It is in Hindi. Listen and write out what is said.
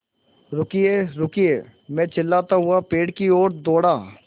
रुकिएरुकिए मैं चिल्लाता हुआ पेड़ की ओर दौड़ा